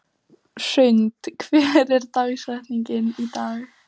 Hrund, hver er dagsetningin í dag?